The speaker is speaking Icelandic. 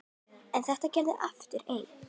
En ekkert varð aftur eins.